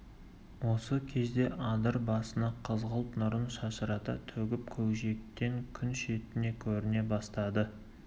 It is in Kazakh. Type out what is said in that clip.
осы кезде адыр басына қызғылт нұрын шашырата төгіп көкжиектен күн шеті көріне бастады